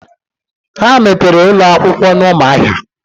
Ha mepere ụlọ akwụkwọ n'Ụmụahia.